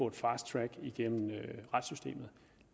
et fast track igennem retssystemet